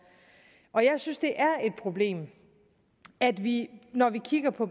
og jeg synes det er et problem at vi når vi kigger på